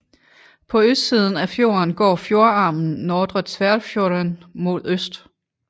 På østsiden af fjorden går fjordarmen Nordre Tverrfjorden mod øst